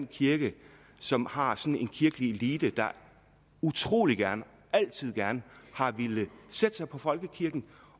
kirke som har en kirkelig elite der utrolig gerne altid gerne har villet sætte sig på folkekirken